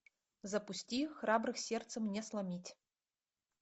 запусти храбрых сердцем не сломить